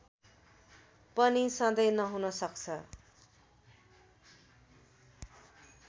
पनि सधैं नहुन सक्छ